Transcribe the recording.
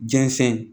Jɛnsɛn